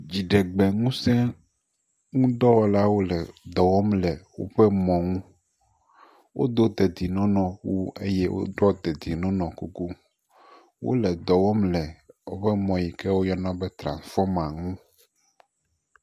Dziɖegbeŋusẽdɔwɔlawo le dɔ wɔm le woƒe mɔ ŋu, wodo dedinɔnɔnɔwu eye wodoɔ dedinɔnɔkuku, wole dɔ wɔm woƒe mɔ yi ke woyɔna be tranfɔma ŋu.